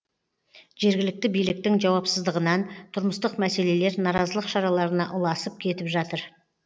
жергілікті биліктің жауапсыздығынан тұрмыстық мәселелер наразылық шараларына ұласып кетіп жатыр